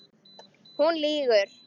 Hún lýgur.